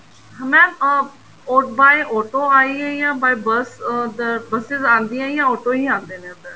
mam uh by auto ਆਈਏ ਜਾਂ by bus buses ਆਂਦੀਆਂ ਜਾਂ auto ਆਂਦੇ ਨੇ ਉੱਧਰ